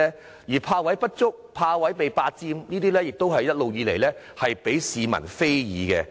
至於泊位不足或被霸佔的問題，也一直受到市民非議。